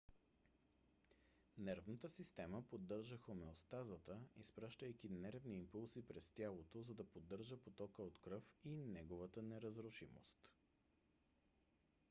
нервната система поддържа хомеостазата изпращайки нервни импулси през тялото за да поддържа потока от кръв и неговата неразрушимост